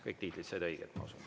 Kõik tiitlid said õiged, ma usun.